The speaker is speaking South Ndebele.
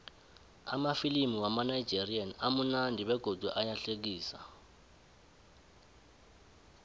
amafilimu wamanigerian amunandi begodu ayahlekisa